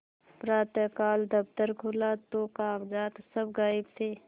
प्रातःकाल दफ्तर खुला तो कागजात सब गायब थे